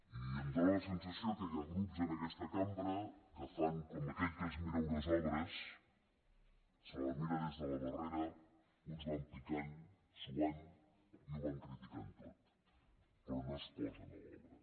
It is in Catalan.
i em fa la sensació que hi ha grups en aquesta cambra que fan com aquell que es mira unes obres se la miren des de la barrera uns van picant suant i ho van criticant tot però no es posen a l’obra